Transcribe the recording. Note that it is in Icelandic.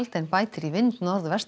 en bætir í vind